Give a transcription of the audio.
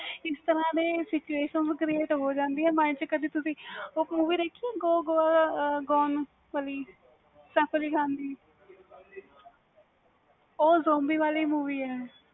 ਇਸ ਤਰਾਂ ਦੇ situation create ਹੋ ਜਾਂਦੀਆਂ ਨੇ ਕਦੇ ਤੁਸੀ ਉਹ movie ਦੇਖੀ go gao gone ਵਾਲੀ ਸੇਫ ਅਲੀ ਖਾਨ ਦੀ ਵ ਉਹ zobi ਵਾਲੀ movie ਵ